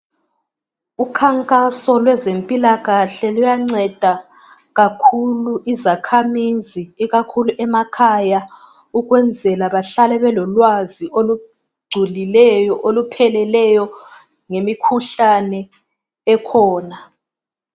Umkhankaso lwezempilakahle luyanceda kakhulu izakhamizi ikakhulu emakhaya ukwenzela bahlale belolwazi olugculileyo, olupheleleyo ngemikhuhlane ekhona.